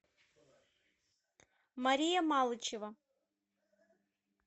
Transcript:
мария малычева